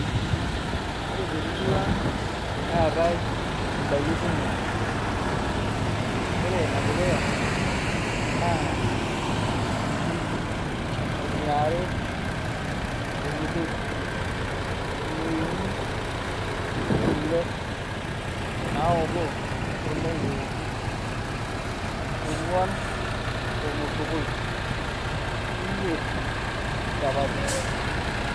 Ore temurua aang neetai indaiki kumok ore inedukuya naa inkirik eniare ormushele eneuni kule naotoo eneitu ekuu ong'uan ormosokoi imiet inchapatini.